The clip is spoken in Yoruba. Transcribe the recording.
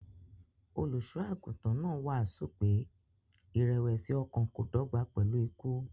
Olùṣọ́-àgùntàn náà wàásù pé ìrẹ̀wẹ̀sì-ọkàn kò dọ́gba pẹ̀lú ikú.